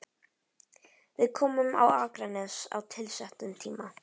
Við komum á Akranes á tilsettum tíma.